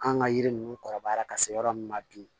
An ka yiri ninnu kɔrɔbayara ka se yɔrɔ min ma bi